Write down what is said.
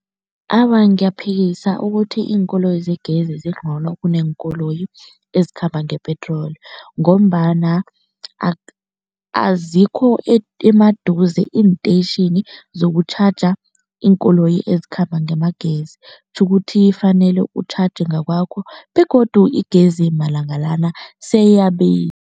Awa, ngiyaphikisa ukuthi iinkoloyi zegezi zingcono kuneenkoloyi ezikhamba ngepetroli ngombana azikho emaduze iinteyitjhini zokutjhaja iinkoloyi ezikhamba ngamagezi. Kutjho ukuthi ufanele utjhatjhe ngakwakho begodu igezi malanga lana